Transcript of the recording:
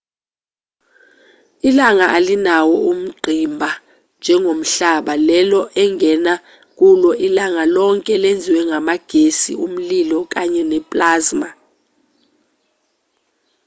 ilanga alinawo ungqimba njengomhlaba lelo ongema kulo ilanga lonke lenziwe ngamagesi umlilo kanye ne-plasma